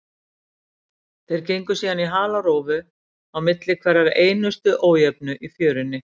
Þeir gengu síðan í halarófu á milli hverrar einustu ójöfnu í fjörunni.